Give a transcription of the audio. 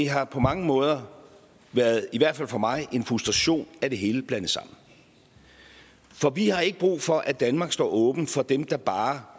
har på mange måder i hvert fald for mig en frustration at det hele er blandet sammen for vi har ikke brug for at danmark står åben for dem der bare